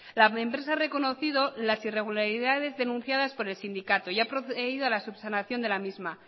la empresa ha reconocido las irregularidades denunciadas por el sindicato y ha procedido a la subsanación de la misma